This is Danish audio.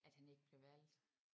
At han ikke blev valgt